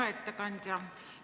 Hea ettekandja!